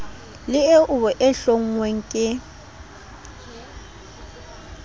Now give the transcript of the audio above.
le eo e hlonngweng ke